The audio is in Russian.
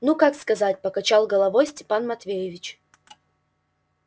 ну как сказать покачал головой степан матвеевич